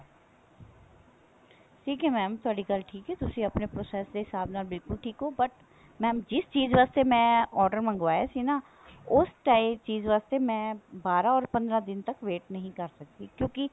ਠੀਕ ਹੈ mam ਤੁਹਾਡੀ ਗੱਲ ਠੀਕ ਹੈ ਤੁਸੀਂ ਆਪਣੇ process ਦੇ ਹਿਸਾਬ ਨਾਲ ਬਿਲਕੁਲ ਠੀਕ ਹੋ but mam ਜਿਸ ਚੀਜ਼ ਵਾਸਤੇ ਮੈਂ order ਮੰਗਵਾਇਆ ਸੀ ਨਾ ਉਸ ਟਾਈ ਚੀਜ਼ ਵਾਸਤੇ ਮੈਂ ਬਾਰਾਂ ਹੋਰ ਪੰਦਰਾਂ ਦਿਨ ਤੱਕ wait ਨਹੀਂ ਕਰ ਸਕਦੀ ਕਿਉਂਕਿ